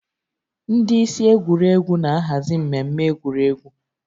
Ndị isi egwuregwu na-ahazi mmemme egwuregwu